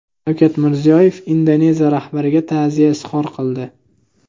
Shavkat Mirziyoyev Indoneziya rahbariga ta’ziya izhor qildi.